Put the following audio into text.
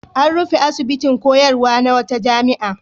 An rufe asibitin koyarwa na wata jami'a.